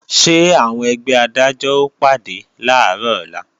Ṣé àwọn ẹgbẹ́ Adájọ́ ó pàdé làárọ̀ ọ̀la?